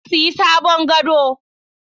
Na sayi sabon gado